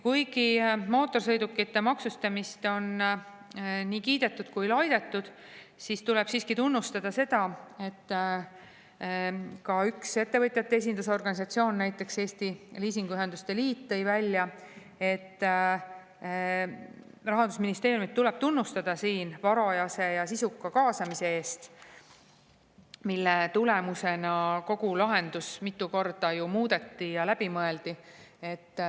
Kuna mootorsõidukite maksustamist on nii kiidetud kui ka laidetud, tuleb seda, et üks ettevõtjate esindusorganisatsioon, Eesti Liisingühingute Liit tõi välja, et Rahandusministeeriumi tuleb tunnustada varajase ja sisuka kaasamise eest, mille tulemusena kogu lahendust mitu korda muudeti ja läbi mõeldi.